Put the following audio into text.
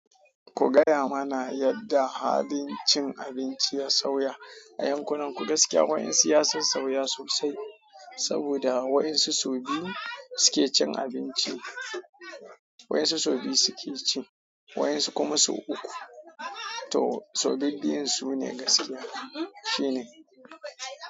Ku gaya mana yadda halin cin abinci ya sauya a yankunanku gaskiya. Wayansu ya sassauya sosai saboda wayansu sau biyu suke cin abinci, wayansu sau biyu suke ci, wayansu kuma sau uku. To sau biyu biyu su ne gaskiya. Shi ne.